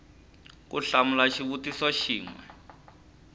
ku hlamula xivutiso xin we